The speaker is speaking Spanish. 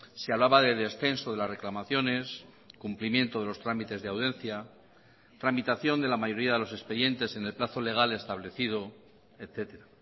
se hablaba de descenso de las reclamaciones cumplimiento de los trámites de audiencia tramitación de la mayoría de los expedientes en el plazo legal establecido etcétera